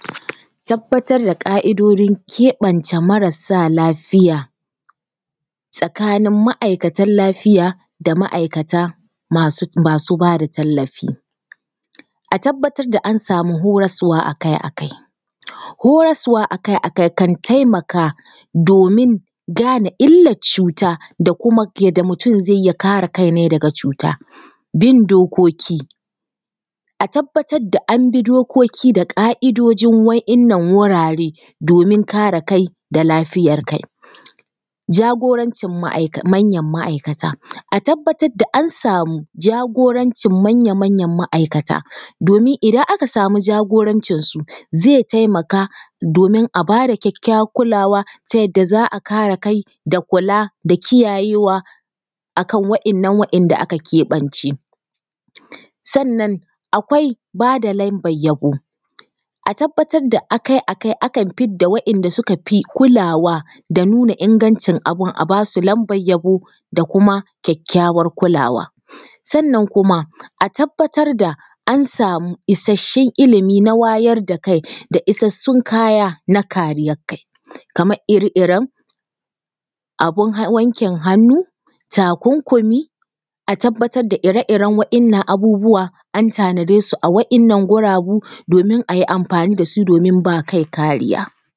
Tabbatar da ƙa’idojin keɓanta marasa lafiya tsakanin ma’aikatan lafiya da ma’aikata masu masu ba da tallafi. A tabbatar da an samu horaswa akai-akai, horaswa akai-akai kan taimaka domin gane illan cuta da kuma yanda mutum ya kare kai nai daga cuta. Bin dokoki: A tabbatar da an bi dokoki da ƙa’idoji wa’innan wurare domin kare kai da lafiyar kai. Jagorancin ma’aik manyan ma’aikata: A tabbatar da an samu jagorancin manyan ma’aikata. Domin idan aka samu jagorancinsu, zai taimaka domin a ba da kyakkyawar kulawa ta yanda za a kare kai da kula da kiyayewa akan wa’innan wa’inda aka keɓance. Sannan akwai ba da lambar yabo: A tabbatar da akai-akai akan fidda wa’inda suka fi kulawa da nuna ingancin abun, a basu lamban yabo da kuma kyakkyawar kula. Sannan kuma a tabbatar da an samu isasshun ilimi na wayar da kai, da isasshun kaya na kariyan kai. Kamar ire-iren abun wankin hannu, takunkumi, a tabbatar da ire-iren wa’innan abubuwa an tanade su a wa’innan guragu domin a yi amfani da su domin ba kai kariya.